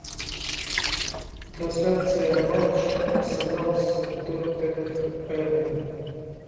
трансляция матча арсенал с тоттенхэмом